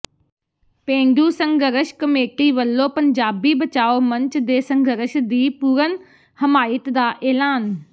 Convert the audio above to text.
ਪੇਂਡੂ ਸੰਘਰਸ਼ ਕਮੇਟੀ ਵੱਲੋਂ ਪੰਜਾਬੀ ਬਚਾਓ ਮੰਚ ਦੇ ਸੰਘਰਸ਼ ਦੀ ਪੂਰਨ ਹਮਾਇਤ ਦਾ ਐਲਾਨ